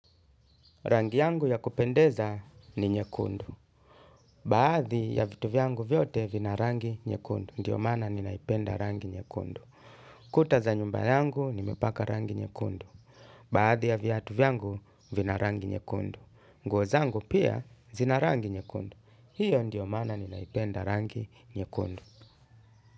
Rangi yangu ya kupendeza ni nyekundu. Baadhi ya vitu vyangu vyote vina rangi nyekundu. Ndiyo mana ninaipenda rangi nyekundu. Kuta za nyumba yangu nimepaka rangi nyekundu. Baadhi ya viatu vyangu vina rangi nyekundu. Nguo zangu pia zina rangi nyekundu. Hiyo ndiyo maana ninaipenda rangi nyekundu.